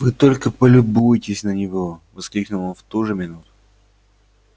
вы только полюбуйтесь на него воскликнул он в ту же минуту